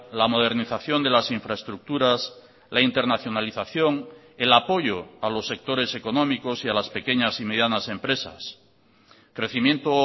la modernización de las infraestructuras la internacionalización el apoyo a los sectores económicos y a las pequeñas y medianas empresas crecimiento